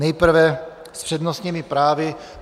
Nejprve s přednostními právy.